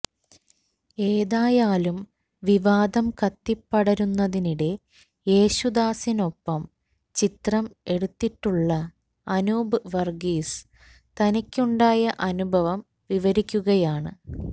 ഏതായാലും വിവാദം കത്തിപ്പടരുന്നതിനിടെ യേശുദാസിനൊപ്പം ചിത്രം എടുത്തിട്ടുള്ള അനൂപ് വർഗീസ് തനിക്കുണ്ടായ അനുഭവം വിവരിക്കുകയാണ്